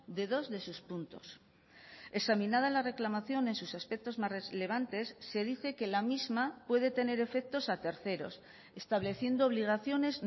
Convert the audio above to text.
de dos de sus puntos examinada la reclamación en sus aspectos más relevantes se dice que la misma puede tener efectos a terceros estableciendo obligaciones